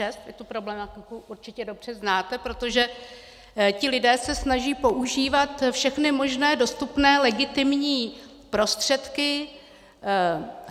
Vy tu problematiku určitě dobře znáte, protože ti lidé se snaží používat všechny možné dostupné legitimní prostředky.